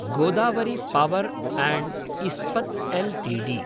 Godavari power and Ispat Ltd